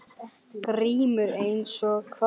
GRÍMUR: Eins og hvað?